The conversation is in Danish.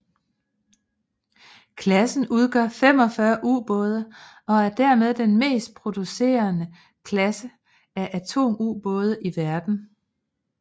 Klassen udgør 45 ubåde og er dermed den mest producerede klasse af atomubåde i verden